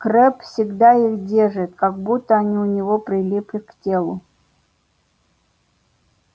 крэбб всегда их держит как будто они у него прилипли к телу